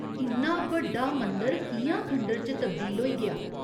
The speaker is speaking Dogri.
इन्ना बड्डा मंदर कि'यां खंडह्‌र च तब्दील होई गेआ ?